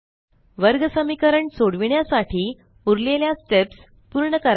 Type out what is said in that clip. वर्गसमीकरण सोडविण्यासाठी उरलेल्या स्टेप्स पूर्ण करा